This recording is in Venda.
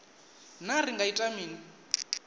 naa ri nga ita mini